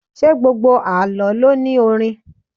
Ṣé gbogbo Àlọ́ lo ní orin?